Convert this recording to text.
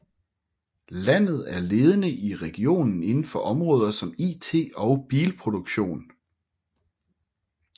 Landet er ledende i regionen inden for områder som IT og bilproduktion